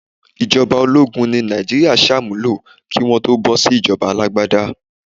Ìjọba ológun ni Nàìjíríà sàmúlò kí Wọ́n tó bọ́ sí ìjọba alágbádá.